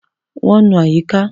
Wọ́n ń nu àyíká.